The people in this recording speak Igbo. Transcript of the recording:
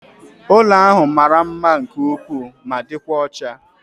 Ụlọ ahụ mara mma nke ukwuu ma dịkwa ọcha